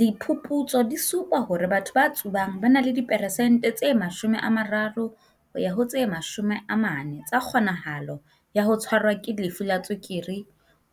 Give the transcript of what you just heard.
"Diphuputso di supa hore batho ba tsubang ba na le di peresente tse 30 ho ya ho 40 tsa kgonahalo ya ho tshwarwa ke lefu la tswekere